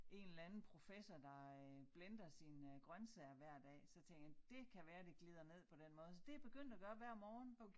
En eller anden professor der øh blender sine grøntsager hver dag så tænkte jeg det kan være det glider ned på den måde så det begyndt at gøre hver morgen